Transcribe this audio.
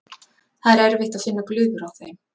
Það er erfitt að finna glufur á þeim.